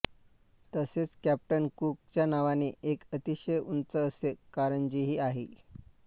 तसेच captain Cook च्या नावाने एक अतिशय उंच असे कारंजेही आहे